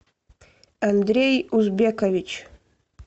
андрей узбекович